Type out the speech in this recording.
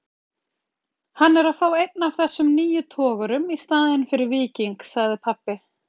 Hann er að fá einn af þessum nýju togurum í staðinn fyrir Víking, sagði pabbi.